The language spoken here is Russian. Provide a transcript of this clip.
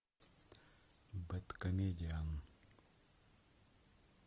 бэдкомедиан